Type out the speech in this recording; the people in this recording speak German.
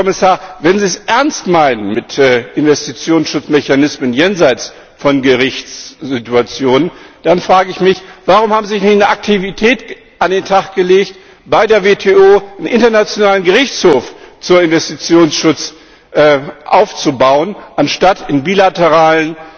Herr Kommissar, wenn Sie es ernst meinen mit Investitionsschutzmechanismen jenseits von Gerichtssituationen, dann frage ich mich Warum haben Sie nicht eine Aktivität an den Tag gelegt, bei der WTO einen internationalen Gerichtshof zum Investitionsschutz aufzubauen, anstatt in bilateralen